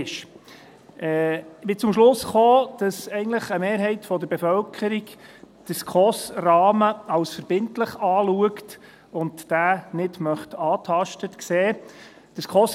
Ich bin zum Schluss gekommen, dass eigentlich eine Mehrheit der Bevölkerung den SchweizerischeKonferenz-für-Sozialhilfe(SKOS)-Rahmen als verbindlich betrachtet und diesen nicht angetastet sehen möchte.